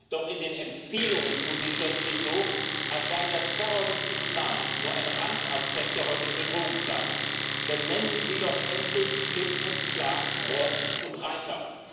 Doch in den Empfehlungen tun Sie plötzlich so, als sei der Terror des Islams nur ein Randaspekt der heutigen Bedrohungslage. Nennen Sie doch endlich klipp und klar Ross und Reiter!